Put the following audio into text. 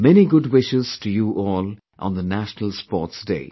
Many good wishes to you all on the National Sports Day